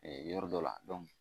yɔrɔ dɔ la